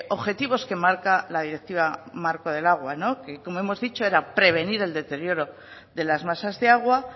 objetivos que marca la directiva marco del agua que como hemos dicho era prevenir el deterioro de las masas de agua